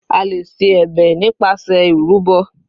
A lè ṣe ẹ̀bẹ̀ nípasẹ̀ ìrúbọ.